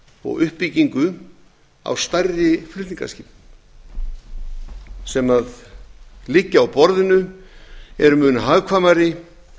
og uppbyggingu á stærri flutningaskipum sem liggja á borðinu eru mun hagkvæmari